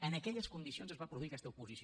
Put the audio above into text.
en aquelles condicions es va produir aquesta votació